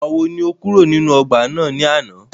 Ìgbàwo ni o kúrò nínú ọgbà náà ní àná?